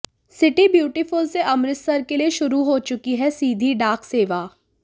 city beautiful से अमृतसर के लिए शुरू हो चुकी है सीधी डाक सेवा